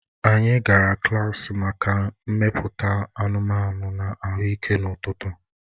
Anyị gara klaasị maka mmepụta anụmanụ na ahụike n'ụtụtụ